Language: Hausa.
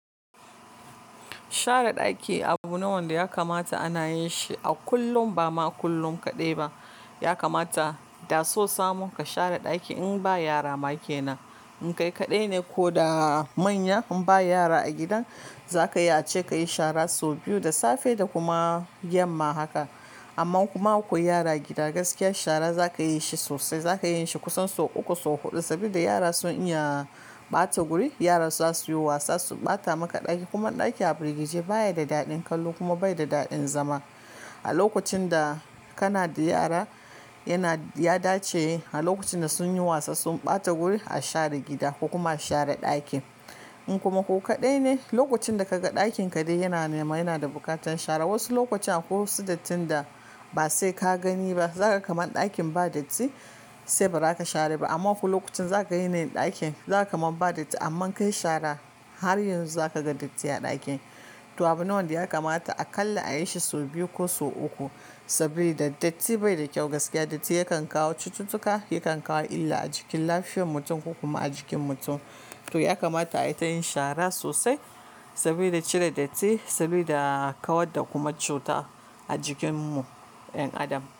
Share ɗaki abu ne wanda ya kamata ana yin shi a kullum, bama kullum kaɗai ba. Ya kamata da so samun ka share ɗaki in ba yara ma kenan. In kai kaɗai ne ko da manya in ba yara a gidan, za ka yi ace kayi shara sau biyu, da safe da kuma yamma haka. Amma kuma akwai yara gida, gaskiyar shara za ka yi shi sosai. Za ka yin shi kusan sau uku, sau huɗu saboda yara sun iya ɓata wuri. Yara za su yi wasa, su ɓata maka ɗaki kuma ɗaki a firgice baya da daɗin kallo kuma bai da daɗin zama. A lokacin da kana da yara, yana, ya dace a lokacin da sun yi wasa, sun ɓata wuri a share gida kuma a share ɗakin. In kuma ku kaɗai ne, lokacin da kaga ɗakin ka dai yana nema, yana da bukatan share, wasu lokutan ko wasu dattaan da ba sai ka gani ba, za ka gan kaman ɗakin ba datti sai ba za ka share ba. Amma ko lokacin za ka yi yanayin ɗakin za ka kaman ba datti amma ka yi shara har yanzu za ka gan datti a ɗakin. To abu ne wanda ya kamata aƙalla a yi shi sau biyu ko sau uku saboda datti bai da kyau gaskiya. Datti yakan kawo cututtuka, yakan kawo illa a jikin lafiyar mutum kuma a jikin mutum. To ya kamata a yi ta yin shara sosai saboda cire datti, saboda ƙaward da kuma cuta a jikinmu 'yan adam.